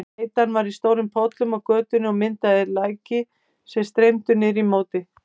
Bleytan var í stórum pollum á götunni og myndaði læki sem streymdu niður í móti.